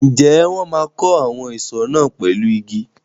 Ǹjẹ́ wọn máa kọ́ àwọn ìsọ̀ náà pẹ̀lú igi?